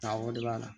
Taa o de b'a la